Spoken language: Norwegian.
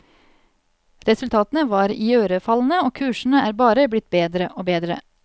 Resultatene var iørefallende og kursene er bare blitt bedre og bedre.